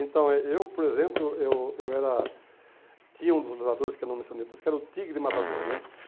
Então, eh eu, por exemplo, eu eu era, tinha um dos lutadores que eu não mencionei, por isso que era o tigre matador, né?